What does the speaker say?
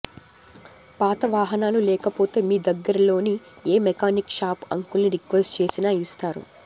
పాత వాహనాలు లేకపోతే మీ దగ్గరలోని ఏ మెకానిక్ షాపు అంకుల్ని రిక్వెస్ట్ చేసినా ఇస్తారు